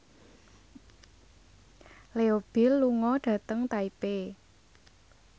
Leo Bill lunga dhateng Taipei